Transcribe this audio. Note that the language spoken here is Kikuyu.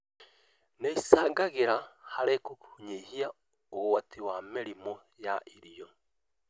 Nĩ icangagĩra harĩ kũnyihia ũgwati wa mĩrimũ ya irio